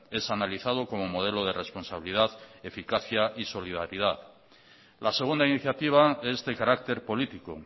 es analizado como modelo de responsabilidad eficacia y solidaridad la segunda iniciativa es de carácter político